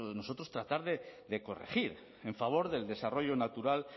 tratar de corregir en favor del desarrollo natural